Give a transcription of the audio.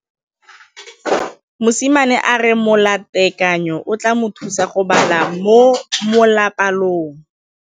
Mosimane a re molatekanyô o tla mo thusa go bala mo molapalong.